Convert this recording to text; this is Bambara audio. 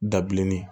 Dabilenni